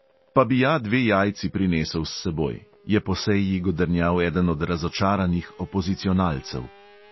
"Pa bi ja dve jajci prinesel s seboj!" je po seji godrnjal eden od razočaranih opozicionalcev.